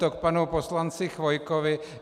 To k panu poslanci Chvojkovi.